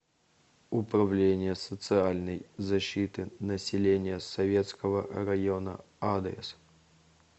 управление социальной защиты населения советского района адрес